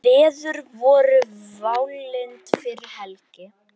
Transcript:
Veður voru válynd fyrir helgi.